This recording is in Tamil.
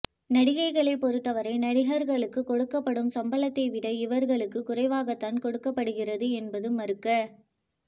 நடிகைகளை பொறுத்தவரை நடிகர்களுக்கு கொடுக்கப்படும் சம்பளத்தை விட இவர்களுக்கு குறைவாகத்தான் கொடுக்கப்படுகிறது என்பது மறுக்க